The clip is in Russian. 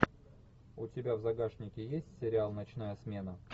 у тебя в загашнике есть сериал ночная смена